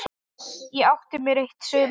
Ég átti mér eitt sumar.